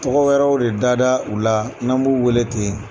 Tɔgɔ wɛrɛw de da da u la n'an b'u wele ten.